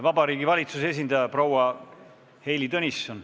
Vabariigi Valitsuse esindaja proua Heili Tõnisson.